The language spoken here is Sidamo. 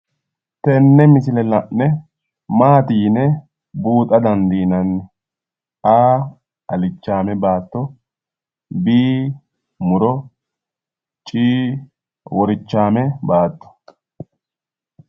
Tenne misile la'ne maati yine buuxa dandiinanni? a, alichaame baatto b, muro c, worichaame baatto